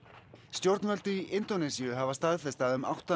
stjórnvöld í Indónesíu hafa staðfest að um átta